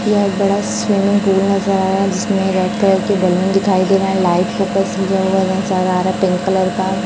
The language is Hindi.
यह एक बड़ा स्विमिंग पूल है यहां जिसमें रेड कलर के बैलून दिखाई दे रहे हैं लाइट फोकस लिखा हुआ है बहुत सारा हरा पिंक कलर का।